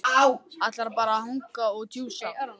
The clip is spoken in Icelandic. Ætlarðu bara að hanga hér og djúsa?